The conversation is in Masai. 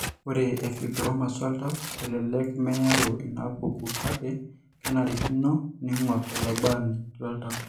Ore eFibromas oltau elelek meyau inaapuku, kake kenarikino neing'or olabaani loltau.